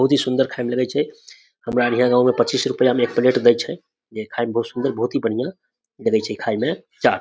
बहुत ही सुंदर खाय में लगय छै हमरा हीया गांव मे पच्चीस रुपिया में एक प्लेट देय छै जे खाय मे बहुत ही सुंदर बहुत ही बढ़िया लगय छै चाट।